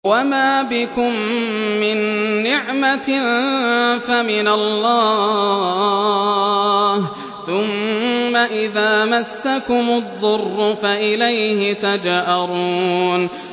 وَمَا بِكُم مِّن نِّعْمَةٍ فَمِنَ اللَّهِ ۖ ثُمَّ إِذَا مَسَّكُمُ الضُّرُّ فَإِلَيْهِ تَجْأَرُونَ